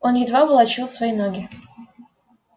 он едва волочил свои ноги